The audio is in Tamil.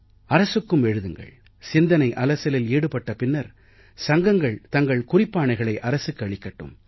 அரசுக்கும் எழுதுங்கள் சிந்தனை அலசலில் ஈடுபட்ட பின்னர் சங்கங்கள் தங்கள் குறிப்பாணைகளை அரசுக்கு அளிக்கட்டும்